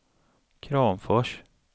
Kramfors